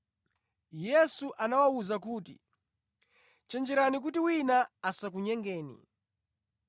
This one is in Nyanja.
Yesu anawawuza kuti, “Chenjerani kuti wina asakunyengeni.